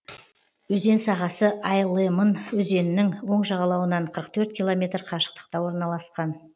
өзен сағасы ай лемын өзенінің оң жағалауынан қырық төрт километр қашықтықта орналасқан